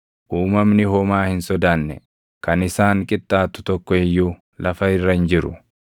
Uumamni homaa hin sodaanne, kan isaan qixxaatu tokko iyyuu lafa irra hin jiru.